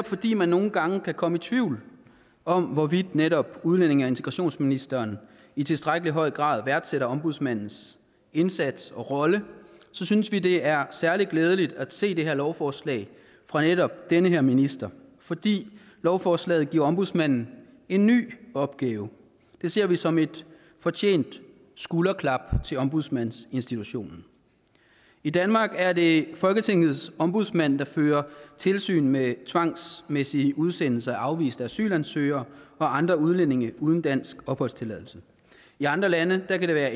fordi man nogle gange kan komme i tvivl om hvorvidt netop udlændinge og integrationsministeren i tilstrækkelig høj grad værdsætter ombudsmandens indsats og rolle så synes vi det er særlig glædeligt at se det her lovforslag fra netop den her minister fordi lovforslaget giver ombudsmanden en ny opgave det ser vi som et fortjent skulderklap til ombudsmandsinstitutionen i danmark er det folketingets ombudsmand der fører tilsyn med tvangsmæssige udsendelser af afviste asylansøgere og andre udlændinge uden dansk opholdstilladelse i andre lande kan det være